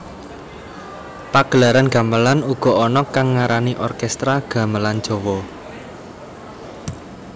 Pagelaran gamelan uga ana kang ngarani orkestra gamelan Jawa